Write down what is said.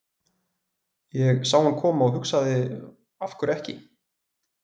Ég sá hann koma og hugsaði af hverju ekki?